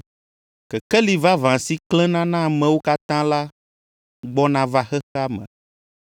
Kekeli vavã si klẽna na amewo katã la gbɔna va xexea me.